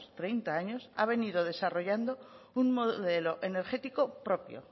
treinta años ha venido desarrollando un modelo energético propio